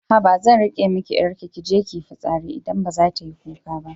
Haba zan riƙe miki 'yarki kije kiyi fitsari idan baza tayi kuka ba